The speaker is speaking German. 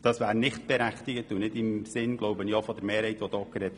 Meines Erachtens wäre sie auch nicht im Sinne der Mehrheit, die hier gesprochen hat.